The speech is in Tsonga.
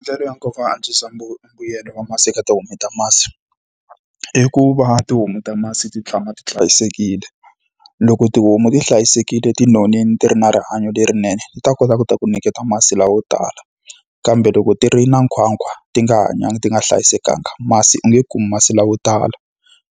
Ndlela ya nkoka yo antswisa mbuyelo wa masi eka tihomu ta masi, i ku va tihomu ta masi ti tshama ti hlayisekile. Loko tihomu ti hlayisekile, ti nonile, ti ri na rihanyo lerinene, ti ta kota ku ta ku nyiketa masi layo tala. Kambe loko ti ri na nkhwankhwa, ti nga hanyanga, ti nga hlayisekanga, masi u nge kumi masi layo tala.